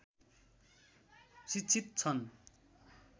शि‍क्षित छन्